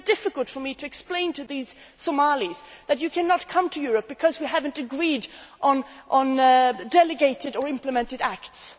Europe. It is very difficult for me to explain to these Somalis that you cannot come to Europe because we have not agreed on delegated or implemented